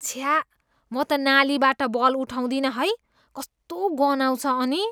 छ्या, म त नालीबाट बल उठाउदिनँ है। कस्तो गनाउँछ अनि।